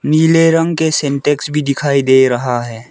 नीले रंग के सिंटेक्स भी दिखाई दे रहा है।